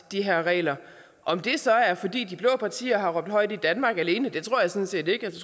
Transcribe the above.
de her regler om det så er fordi de blå partier har råbt højt i danmark alene det tror jeg sådan set ikke